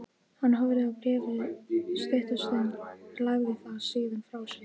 Hann horfði á bréfið stutta stund, lagði það síðan frá sér.